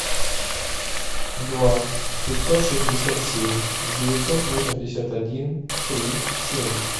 два пятьсот шестьдесят семь девятьсот восемьдесят один три семь